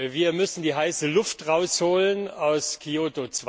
Wir müssen die heiße Luft herausholen aus Kyoto